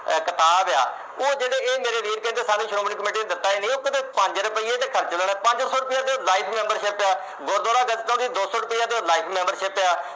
ਕਿਤਾਬ ਆ, ਉਹ ਜਿਹੜੇ ਇਹ ਮੇਰੇ ਵੀਰ ਕਹਿੰਦੇ ਆ ਸ਼੍ਰੋਮਣੀ committee ਨੇ ਦਿੱਤਾ ਈ ਨੀ, ਉਹ ਪੰਜ ਰੁਪਏ ਤਾਂ ਖਰਚਣੇ ਨੇ, ਪੰਜ ਸੌ ਰੁਪਏ ਦੀ life membership ਆ, ਗੁਰਦੁਆਰਾ ਦੀ ਦੌ ਸੌ ਰੁਪਏ ਦੀ life membership ਆ